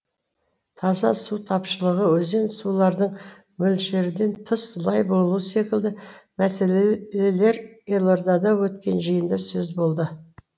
таза су тапшылығы өзен сулардың мөлшерден тыс лай болуы секілді мәселелер елордада өткен жиында сөз болды